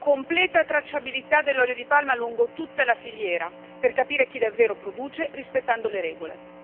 completa tracciabilità dell'olio di palma lungo tutta la filiera per capire chi davvero produce rispettando le regole